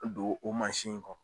Don o mansin in kɔnɔ.